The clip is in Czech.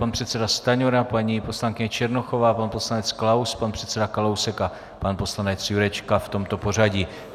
Pan předseda Stanjura, paní poslankyně Černochová, pan poslanec Klaus, pan předseda Kalousek a pan poslanec Jurečka, v tomto pořadí.